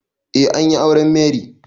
Eh an yi auren Mary.